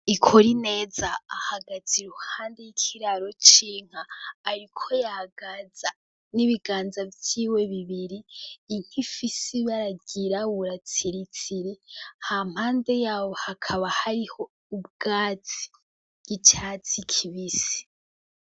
Ikorineza ahagaze iruhande y' ikiraro c' inka ariko yagaza n' ibiganza vyiwe bibiri inka ifise ibara ryirabura tsiritsiri, hampande yaho hakaba hariho ubwatsi bw' icatsi kibisi.